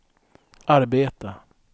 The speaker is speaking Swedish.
arbeta